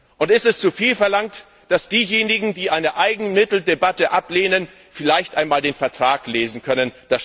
Und ist es zuviel verlangt, dass diejenigen, die eine Eigenmitteldebatte ablehnen, vielleicht einmal den Vertrag lesen können?